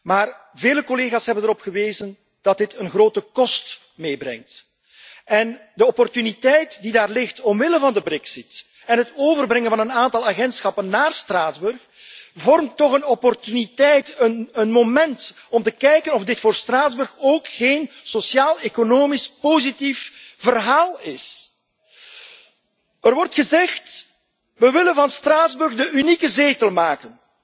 Maar vele collega's hebben erop gewezen dat dit een grote kost meebrengt en de opportuniteit die daar ligt wegens de Brexit en het overbrengen van een aantal agentschappen na Straatsburg vormt toch een opportuniteit, een moment om te kijken of dit voor Straatsburg ook geen sociaaleconomisch positief verhaal is. Er wordt gezegd we willen van Straatsburg de unieke zetel maken.